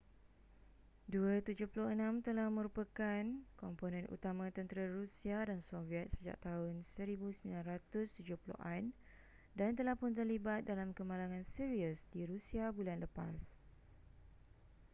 il-76 telah merupakan komponen utama tentera rusia dan soviet sejak tahun 1970an dan telah pun terlibat dalam kemalangan serius di rusia bulan lepas